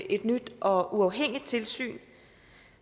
et nyt og uafhængigt tilsyn